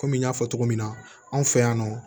Kɔmi n y'a fɔ cogo min na anw fɛ yan nɔ